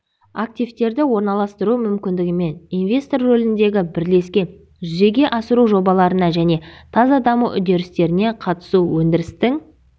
активтерді орналастыру мүмкіндігімен инвестор рөліндегі бірлескен жүзеге асыру жобаларына және таза даму үдерістеріне қатысу өндірістің